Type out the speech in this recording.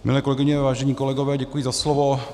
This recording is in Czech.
Milé kolegyně, vážení kolegové, děkuji za slovo.